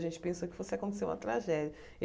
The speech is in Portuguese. A gente pensou que fosse acontecer uma